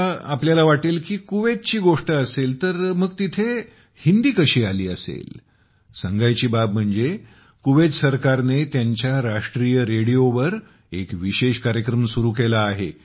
आता तुम्हाला वाटेल की कुवेतची गोष्ट असेल तर तिथे हिंदी कशी आली असेल सांगायची बाब म्हणजे कुवेत सरकारने त्यांच्या राष्ट्रीय रेडिओवर एक विशेष कार्यक्रम सुरू केला आहे